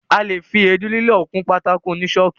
A lè fi èédú lílọ̀ kun pátákó oní ṣọ́ọ̀kì.